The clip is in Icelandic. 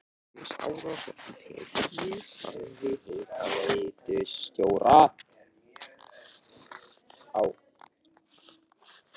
Franz Árnason tekur við starfi hitaveitustjóra á